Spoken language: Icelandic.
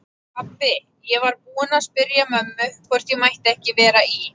Pabbi, ég var búinn að spyrja mömmu hvort ég mætti ekki vera í